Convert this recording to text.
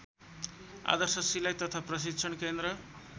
आदर्श सिलाई तथा प्रशिक्षण केन्द्र